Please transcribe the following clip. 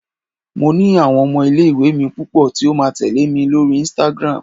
mo ni awon ọmọ ile iwe mi pupo ti o ma tẹle mi lori Instagram